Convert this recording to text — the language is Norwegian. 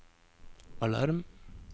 alarm